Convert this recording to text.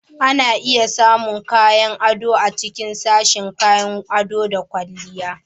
Ana iya samun kayan ado a cikin sashin kayan ado da ƙwalliya